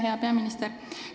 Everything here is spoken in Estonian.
Hea peaminister!